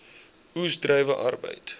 oes druiwe arbeid